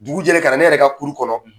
Dugu jɛlen, ka na ne yɛrɛ ka kuru kɔnɔ,